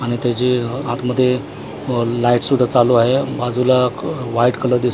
आणि त्याचे आतमध्ये अ लाईट सुद्धा चालू आहे बाजूला व्हाईट कलर दिस--